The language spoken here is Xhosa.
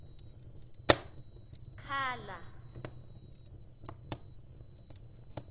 khala